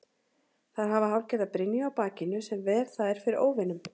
Þær hafa hálfgerða brynju á bakinu sem ver þær fyrir óvinum.